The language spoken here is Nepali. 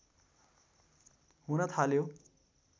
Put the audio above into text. हुन थाल्यो